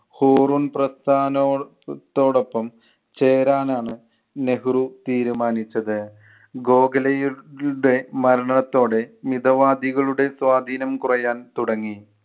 Hurun പ്രസ്ഥാനോത്തോടൊപ്പം ചേരാനാണ് നെഹ്‌റു തീരുമാനിച്ചത്. ഗോഖലെയുടെ മരണത്തോടെ മിതവാദികളുടെ സ്വാധീനം കുറയാൻ തുടങ്ങി.